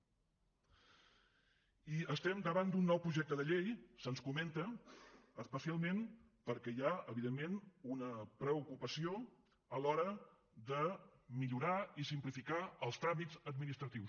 i estem davant d’un nou projecte de llei se’ns comenta especialment perquè hi ha evidentment una preocupació a l’hora de millorar i simplificar els tràmits administratius